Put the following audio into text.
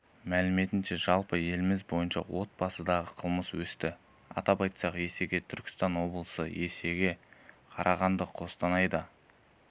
мәліметінше жалпы еліміз бойынша отбасындағы қылмыс өсті атап айтсақ есеге түркістан облысы есеге қарағандыда қостанайда